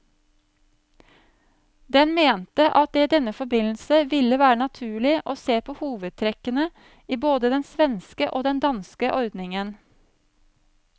Den mente at det i denne forbindelse ville være naturlig å se på hovedtrekkene i både den svenske og den danske ordningen.